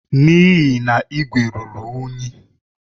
N'ihi na igwe ruru unyi.